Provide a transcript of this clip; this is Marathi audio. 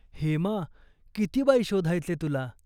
हेमा, किती बाई शोधायचे तुला.